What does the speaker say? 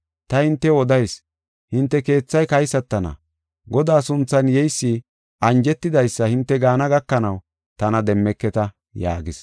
Ta hintew odayis; hinte keethay kaysatana. Godaa sunthan yeysi anjetidaysa hinte gaana gakanaw tana demmeketa” yaagis.